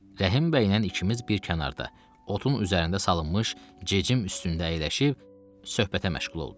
Rəhim bəylə ikimiz bir kənarda, otun üzərində salınmış cecim üstündə əyləşib söhbətə məşğul olduq.